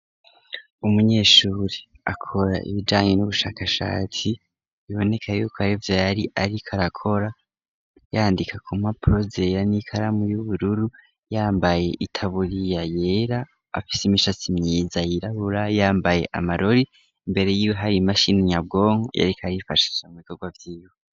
Umunyeshuri akora ibijanye n'ubushakashatsi, biboneka yuko arivyo yariko arakora yandika ku mpapuro zera, n'ikaramu y'ubururu, yambaye itaburiya yera, afise imishatsi myiza yirabura, yambaye amarori, imbere yiwe hari imashini nyabwonko yariko arifashisha mu bikorwa vyiwe.